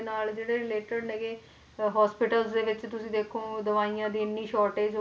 ਨਾਲ ਜਿਹੜੇ related ਹੈਗੇ hospitals ਦੇ ਵਿੱਚ ਤੁਸੀਂ ਦੇਖੋ ਦਵਾਈਆਂ ਦੀ shortage ਹੋ